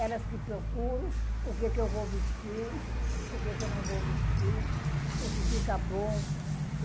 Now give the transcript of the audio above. Elas que procuram o que eu vou vestir, o que eu não vou vestir, o que fica bom.